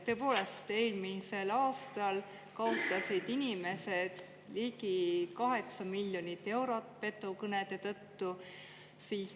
Tõepoolest, eelmisel aastal kaotasid inimesed ligi 8 miljonit eurot petukõnede tõttu.